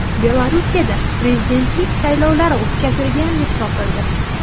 Belarusda prezidentlik saylovlari o‘tkazilgan deb topildi.